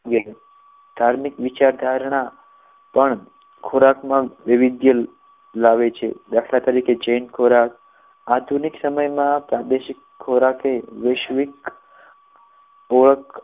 છે ધાર્મિક વિચારણા પણ ખોરાકમાં વિવિધય લાવે છે દાખલા તરીકે જૈન ખોરાક આધુનિક સમયમાં પ્રાદેશિક ખોરાક વૈશ્વિક ઓળખ